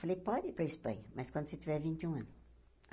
Falei, pode ir para Espanha, mas quando você tiver vinte e um anos.